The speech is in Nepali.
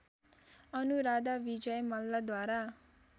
अनुराधा विजय मल्लद्वारा